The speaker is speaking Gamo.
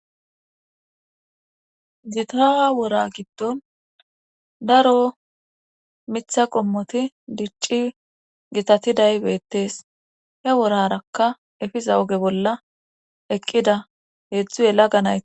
zitaa wora giddon daro mitha qommoti dicci gitatiday beettees he worarakka efiza oge bolla eqqida heedzdzu yella ganaye